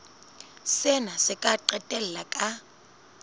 sena se ka qetella ka